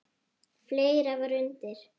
Fleira var undir.